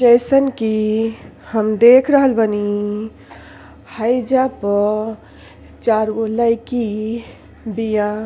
जइसन के हम देख रहल बानी। हैइजा प चार गो लयकी बिया।